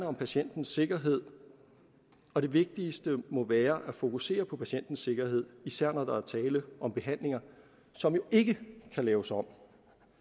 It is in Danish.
om patientens sikkerhed og det vigtigste må være at fokusere på patientens sikkerhed især når der er tale om behandlinger som jo ikke kan laves om